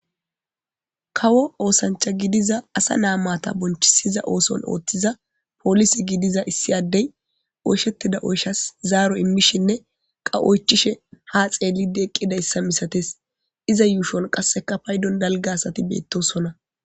kawo oosancha gidiza asa naamata bonchisiza ooson ooththiza poolisi gidiza issi addey oyshettida oyshas zaaro immishinne qa7oychishe ha xeelidi eqqida issa misates iza yuushon qasseka paydon dalga asati beettosonna